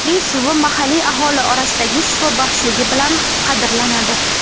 Uning suvi mahalliy aholi orasida shifobaxshligi bilan qadrlanadi.